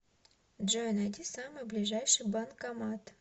джой найди самый ближайший банкомат